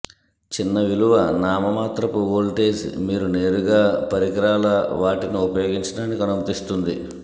చిన్న విలువ నామమాత్రపు వోల్టేజ్ మీరు నేరుగా పరికరాల వాటిని ఉపయోగించడానికి అనుమతిస్తుంది